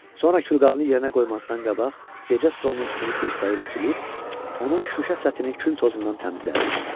Sonra külqabını yerinə qoymasından qabaq gecə stolunun üstünü dirsəyi ilə silib, onun şüşə səthini kül tozundan təmizlədi.